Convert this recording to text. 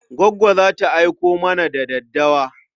Goggo za ta aiko mana da daddawa.